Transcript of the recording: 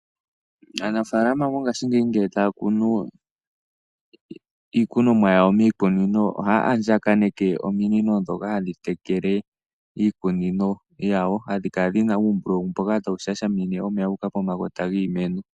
Aanafaalama mongashingeyi ngele taya kunu iikunomwa yawo miikununo, ohaya andjaganeke ominino ndhoka hadhi tekele iikunino yawo , ohadhi kala dhi na uumbululu mboka tawu shashamine wuuka pomakota giimeno.